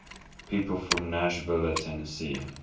people from nashville tennessee